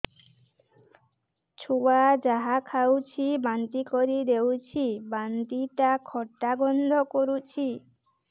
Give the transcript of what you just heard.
ଛୁଆ ଯାହା ଖାଉଛି ବାନ୍ତି କରିଦଉଛି ବାନ୍ତି ଟା ଖଟା ଗନ୍ଧ କରୁଛି